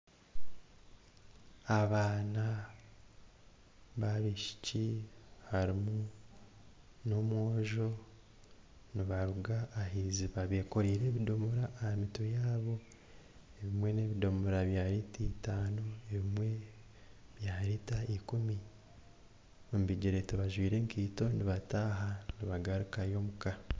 Abaana babishiki harimu n'omwojo nibaruga ah'iziba bekoreire ebidomora aha mitwe yaabo ebimwe nebidomora bya lita itano ebimwe bya lita ikumi omu bigyere tibajwire enkaito nibataha nibagarukayo omuka.